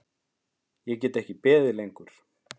Ég get ekki beðið lengur.